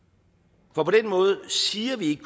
for på måde siger vi ikke